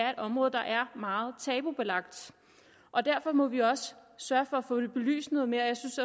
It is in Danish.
er et område der er meget tabubelagt og derfor må vi også sørge for at få det belyst noget mere jeg synes